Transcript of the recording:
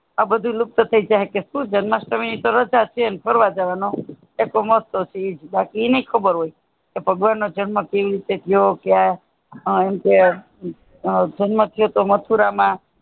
આ બધું લુપ્ત થઇ જાય કેહ સુ જન્માષ્ટમી છે તોહ રાજા છે એમ ફરવા જવાનું મોજ્જ શોક ઇ નહિ ખબર હોય ભગવાન નો જન્મ કેવી રીતે થયો ક્યાં જન્મ થયો મથુરા માં